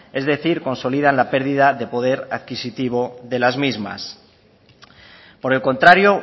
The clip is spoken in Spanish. es decir consolidan la pérdida de poder adquisitivo de las mismas por el contrario